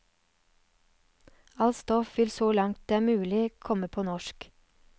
Alt stoff vil så langt det er mulig komme på norsk.